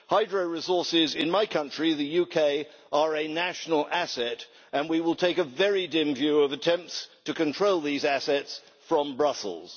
Hydro resources in my country, the UK, are a national asset and we will take a very dim view of attempts to control these assets from Brussels.